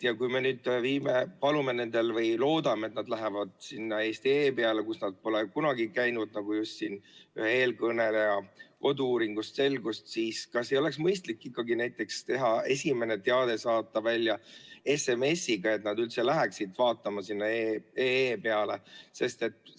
Kui me nüüd palume neid või loodame, et nad lähevad sinna eesti.ee‑sse, kus nad pole kunagi käinud, nagu siin ühe eelkõneleja kodu-uuringust selgus, siis kas ei oleks mõistlik ikkagi näiteks esimene teade saata välja SMS‑iga, et nad üldse läheksid eesti.ee‑d vaatama?